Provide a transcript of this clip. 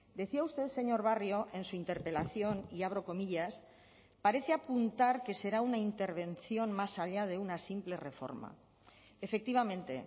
decía usted señor barrio en su interpelación y abro comillas parece apuntar que será una intervención más allá de una simple reforma efectivamente